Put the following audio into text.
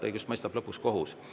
Õigust mõistab lõpuks kohus.